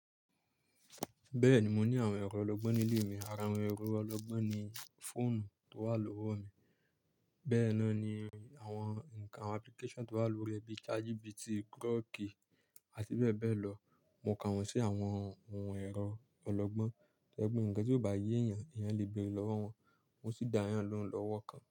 Bẹ́ẹ̀ni mo ní àwọn ẹ̀rọ ọlọ́gbọ́n nílé mi. Ara àwọn ẹ̀rọ ọlọ́gbọ́n ni fóònù tó wà lówó mi, bẹ́ẹ̀ ná ni àwọn ǹkan application tó wà lórí rẹ̀ bíi ChatGPT, Grok àti bẹ́ẹ̀ bẹ́ẹ̀ lọ. Mo kà wọ́n sí àwọn ohun ẹ̀rọ ọlọ́gbọ́n, to je pe ǹkan tí kò bá yé ènìyàn, ènìyàn lè bẹ̀re lọ́wọ́ wọn, wọ́n sì dá ènìyàn lóhùn lówó kan.